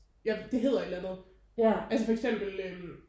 Ja det hedder et eller andet altså for eksempel øh